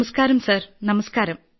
നമസ്ക്കാരം സാർ നമസ്ക്കാരം